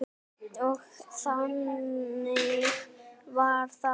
Og þannig varð það.